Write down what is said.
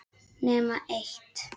Nema eitt.